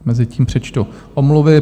Mezitím přečtu omluvy.